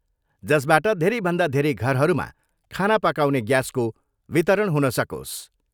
जसबाट धेरैभन्दा धेरै घरहरूमा खाना पकाउने ग्यासको वितरण हुन सकोस्।